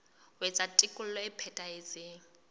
ho etsa tekolo e phethahetseng